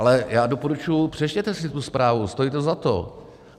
Ale já doporučuji, přečtěte si tu zprávu, stojí to za to.